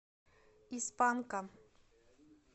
из панка